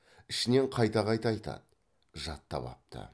ішінен қайта қайта айтады жаттап апты